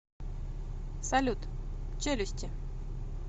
салют челюсти